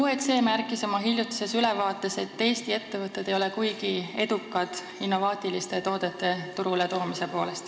OECD märkis oma hiljutises ülevaates, et Eesti ettevõtted ei ole kuigi edukad innovaatiliste toodete turule toomisel.